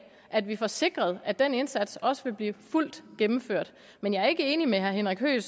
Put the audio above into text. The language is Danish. at vi får sikret at den indsats også vil blive fuldt gennemført men jeg er ikke enig med herre henrik høegh